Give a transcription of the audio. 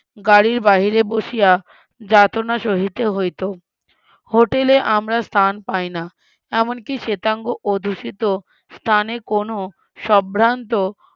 গাড়ির বাহিরে বসিয়া যাতনা সহিতে হইত, hotel এ আমরা স্থান পাইনা, এমনকি শ্বেতাঙ্গ অধিসীত স্থানে কোন সম্ভ্রান্ত,